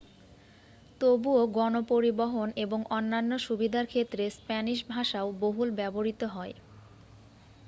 তবুও গণ পরিবহন এবং অন্যান্য সুবিধার ক্ষেত্রে স্পেনিশ ভাষাও বহুল ব্যবহৃত হয়